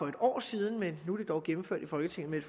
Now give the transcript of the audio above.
et år siden men nu er det dog gennemført i folketinget med et